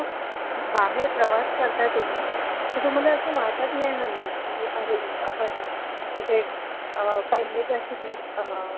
बाहेर प्रवास करते तुम्ही, तर तुम्हाला असं वाटत नाई हल्ली की अरे आपण हे कुठे